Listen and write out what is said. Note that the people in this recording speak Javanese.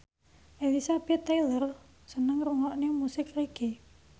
Elizabeth Taylor seneng ngrungokne musik reggae